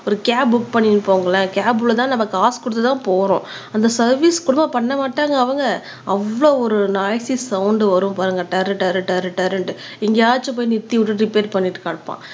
ஒரு cab book பண்ணி போங்களேன் கேப்லதான் நம்ம காசு கொடுத்துதான் போறோம் அந்த சர்வீஸ் கூடவா பண்ண மாட்டாங்க அவங்க அவ்ளோ ஒரு நாய்ஸ் சவுண்ட் வரும் பாருங்க டர் டர் டர் டர்ண்டு எங்கயாச்சும் போய் நிறுத்தி விட்டு ரிப்பேர் பண்ணிட்டு கடப்பா